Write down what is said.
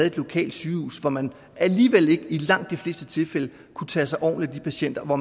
et lokalt sygehus hvor man alligevel i langt de fleste tilfælde ikke kunne tage sig ordentligt af patienterne og